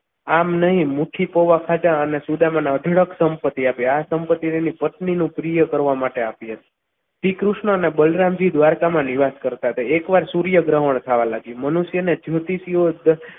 આમ નહીં મોટી પૌવા ખાધા અને સુદામાના સંપત્તિ આપી આ સંપત્તિ અને પત્નીની પ્રિય કરવા માટે આપી હતી. શ્રીકૃષ્ણને બલરામજી દ્વારકામાં નિવાસ કરતા હતા એકવાર સૂર્યગ્રહણ થવા લાગ્યું મનુષ્ય અને જ્યોતિષીઓ